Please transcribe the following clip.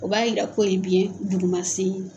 O b'a yira k'o ye biyɛn duguma ye